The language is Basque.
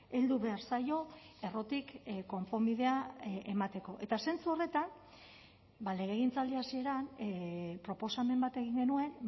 heldu behar zaio errotik konponbidea emateko eta zentzu horretan ba legegintzaldi hasieran proposamen bat egin genuen